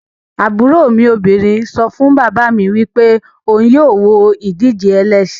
Aburo mi obinrin so fun baba mi wipe ohun yoo wo idije elesin